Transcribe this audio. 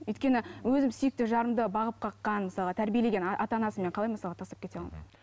өйткені өзім сүйікті жарымды бағып қаққан мысалға тәрбиелеген ата анасын қалай мен мысалы тастап кете аламын мхм